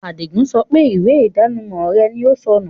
Adígun sọ pé ìwé ìdánimọ̀ rẹ̀ ni ó sọ́nù